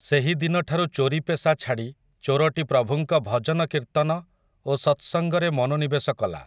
ସେହିଦିନଠାରୁ ଚୋରୀ ପେସା ଛାଡ଼ି ଚୋରଟି ପ୍ରଭୁଙ୍କ ଭଜନକୀର୍ତ୍ତନ ଓ ସତସଙ୍ଗରେ ମନୋନିବେଶ କଲା ।